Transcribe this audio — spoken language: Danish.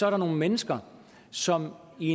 er nogle mennesker som i